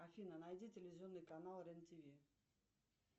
афина найди телевизионный канал рен тв